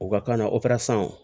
U ka kan na